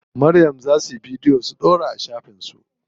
Maryam za suyi bidiyo su ɗaura a shafin su.